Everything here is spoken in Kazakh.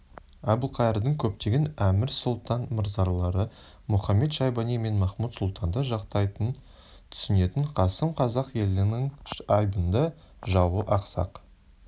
әбілқайырдың көптеген әмір сұлтан мырзалары мұхамед-шайбани мен махмуд-сұлтанды жақтайтынын түсінетін қасым қазақ елінің айбынды жауы ақсақ